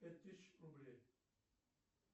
пять тысяч рублей